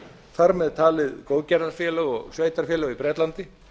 þar með talið góðgerðarfélög og sveitarfélög í bretlandi